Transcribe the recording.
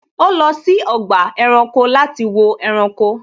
Ó lọ sí ọgbà ẹranko láti wo ẹranko